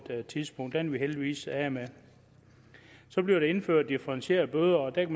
et tidspunkt det er vi heldigvis af med så bliver der indført differentierede bøder og der